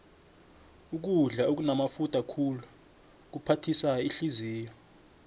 ukudla okunamafutha khulu kuphathisa ihliziyo